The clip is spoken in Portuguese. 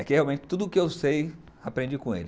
É que realmente tudo o que eu sei, aprendi com ele.